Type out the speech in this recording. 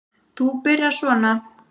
Þú byrjar svona.